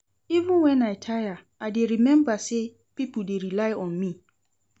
Even wen I tire, I dey rememba sey pipo dey rely on me.